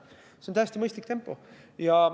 See on täiesti mõistlik tempo.